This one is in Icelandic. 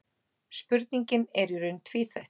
Spurningin er í raun tvíþætt.